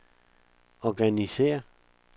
organisér